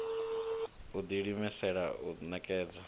u ḓi imisela u ṋekedza